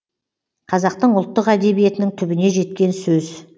қазақтың ұлттық әдебиетінің түбіне жеткен сөз